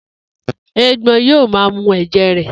Éégbọn yóò maa mu ẹ̀jẹ̀ rẹ.